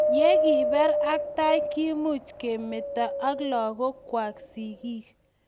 ye kibeer ak tai, kiimuch komito ak lagokwak sigik